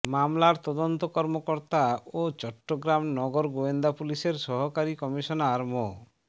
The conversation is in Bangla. মামলার তদন্ত কর্মকর্তা ও চট্টগ্রাম নগর গোয়েন্দা পুলিশের সহকারী কমিশনার মো